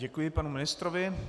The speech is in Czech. Děkuji panu ministrovi.